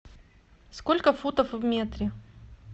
сколько футов в метре